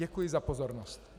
Děkuji za pozornost.